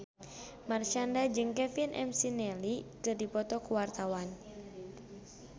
Marshanda jeung Kevin McNally keur dipoto ku wartawan